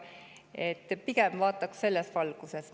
Seega pigem vaataks seda selles valguses.